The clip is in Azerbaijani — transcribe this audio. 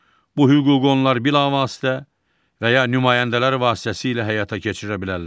Bu hüququ onlar bilavasitə və ya nümayəndələr vasitəsilə həyata keçirə bilərlər.